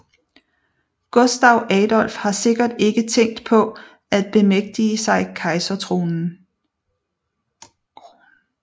Gustav Adolf har sikkert ikke tænkt på at bemægtige sig kejserkronen